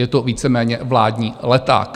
Je to víceméně vládní leták.